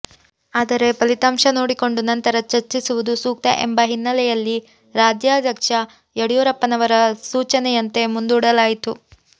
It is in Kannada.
ಆದರೆ ಫಲಿತಾಂಶ ನೋಡಿಕೊಂಡು ನಂತರ ಚರ್ಚಿಸುವುದು ಸೂಕ್ತ ಎಂಬ ಹಿನ್ನೆಲೆಯಲ್ಲಿ ರಾಜ್ಯಾಧ್ಯಕ್ಷ ಯಡಿಯೂರಪ್ಪನವರ ಸೂಚನೆಯಂತೆ ಮುಂದೂಡಲಾಯಿತು